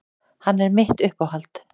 Hann er mitt uppáhald.